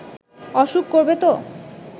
অসুখ করবে তো